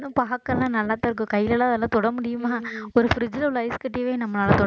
பாக்கெல்லாம் நல்லாத்தான் இருக்கும் கையெல்லாம் அதுல தொட முடியுமா ஒரு fridge ல உள்ள ஐஸ் கட்டிவே நம்மளால தொட